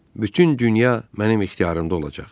Bütün dünya mənim ixtiyarımda olacaq.